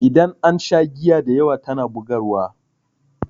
Idan an sha giya dayawa tana bugarwa.